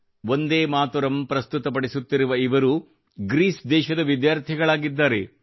ವಂದೇಮಾತರಂ ಪ್ರಸ್ತುತ ಪಡಿಸುತ್ತಿರುವ ಇವರು ಗ್ರೀಸ್ ದೇಶದ ವಿದ್ಯಾರ್ಥಿಗಳಾಗಿದ್ದಾರೆ